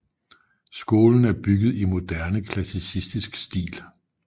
Skolen er bygget i moderne klassicistisk stil